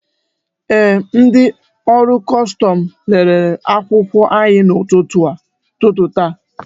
Ee, ndị ọrụ kọstọmụ lelele akwụkwọ anyị n'ụtụtụ ta